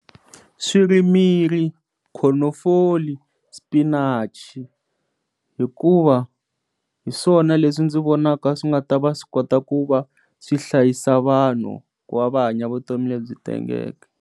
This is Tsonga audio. Swirimiri khonofoli spinach hikuva hi swona leswi ndzi vonaka swi nga ta va swi kota ku va swi hlayisa vanhu ku va va hanya vutomi lebyi tengeke.